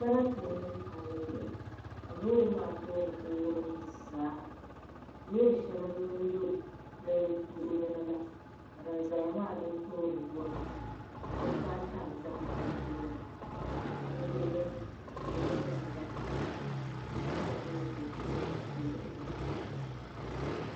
Sarati n niŋ palli zuɣu ka loori maa tooni ku wurim zaa loori shɛli n lu n do di luɣuli ni la ka din ʒɛya maa din tooni bi wurim dabba ata n ʒɛ di tooni bi luɣuli ni ka loori nim garita so gba n ʒi moto zuɣu bi luɣuli ni maa